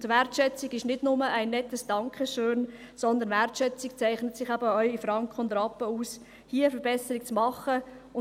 Und Wertschätzung ist nicht nur ein nettes Dankeschön, sondern Wertschätzung zeichnet sich eben auch in Franken und Rappen aus, hier eine Verbesserung zu machen.